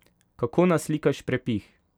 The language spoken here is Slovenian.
Kako naslikaš prepih?